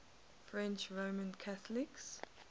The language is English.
french roman catholics